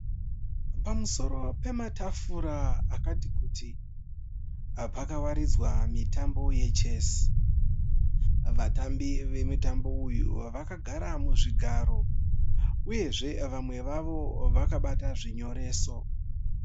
Pamusoro pematafura akati kuti pakawaridzwa mitambo yeChesi. Vatambi vemutambo uyu vakagara muzvigaro uyezve vamwe vavo vakabata zvinyoreso.